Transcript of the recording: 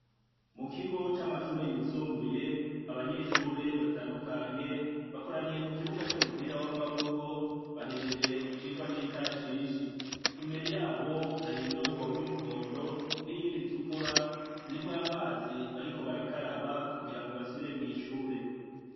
Mukigo c'amashure yisumbuye, abanyehsure batandukanye bakoraniye kukibuga c'umupira w'amaboko bahejeje icigwa c'ikarashishi. Imbere yabo hari indobo y'umuhondo niyindi itukura zirimwamazi bariko barakaraba kugirangombasubire mwishure